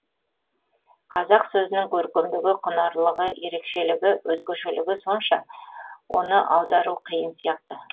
қазақ сөзінің көркемдігі құнарлылығы ерекшелігі өзгешелігі сонша оны аудару қиын сияқты